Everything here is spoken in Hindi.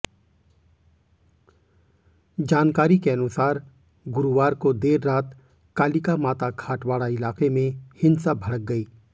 जानकारी के अनुसार गुरुवार को देर रात कालिकामाता खाटवाड़ा इलाके में हिंसा भडक़ गई